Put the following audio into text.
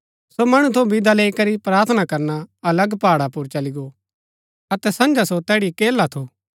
सो मणु थऊँ विदा लैई करी प्रार्थना करना अलग पहाड़ा पुर चली गो अतै सँझा सो तैड़ी अकेला थु